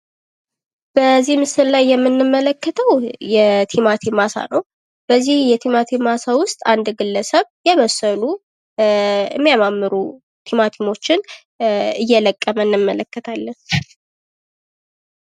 በዚህ ምስል ላይ የምንመለከተው የቲማቲም አሳ ነው :: በዚህ የቲማቲም አሳ ዉስጥ አንድ ግለሰብ የበሰሉ የሚያማምሩ ትማቲሞቺን እየለቀመ እንመለከታለን ::